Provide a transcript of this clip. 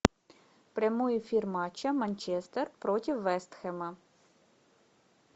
прямой эфир матча манчестер против вест хэма